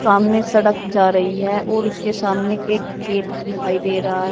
सामने सड़क जा रही है और उसके सामने एक गेट दिखाई दे रहा है।